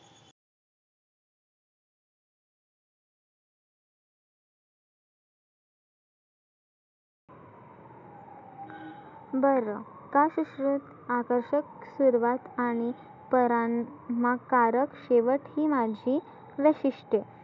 बरं का सुश्रुत आकर्षक सुरुवात आणि परांना काढत शेवट ही मानसी वैशिष्ट्य